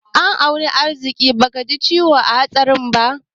An auna arziƙi bakaji ciwo a hatsarin ba.